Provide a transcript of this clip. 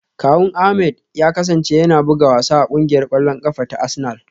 Kawun Ahmed ya kasance yana buga wasa a kungiyar kwallon kafa ta Arsenal.